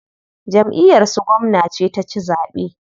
Jamʼiyar su gwamna ce ta ci zaɓe.